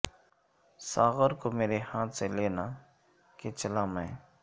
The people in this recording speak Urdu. ساغر کو میرے ہاتھ سے لینا کہ چلا میں